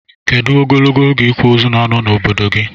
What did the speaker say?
Kedu ogologo oge ikwa ozu na ano na obodo gi?